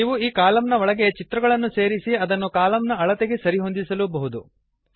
ನೀವು ಈ ಕಾಲಮ್ ನ ಒಳಗೆ ಚಿತ್ರಗಳನ್ನು ಸೇರಿಸಿ ಅದನ್ನು ಕಾಲಮ್ನ ಅಳತೆಗೆ ಸರಿಹೊಂದಿಸಬಹುದು